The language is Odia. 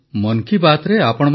ମୋର ପ୍ରିୟ ଦେଶବାସୀଗଣ ନମସ୍କାର